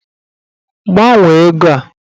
Gbanwee ego a!